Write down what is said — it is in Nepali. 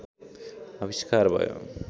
आविष्कार भयो